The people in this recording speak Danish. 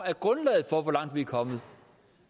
er grundlaget for hvor langt vi er kommet